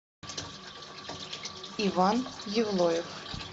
иван евлоев